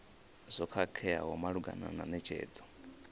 zwo khakheaho malugana na netshedzo